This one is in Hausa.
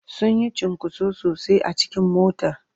Sun yi cunkoso sosai a cikin motar.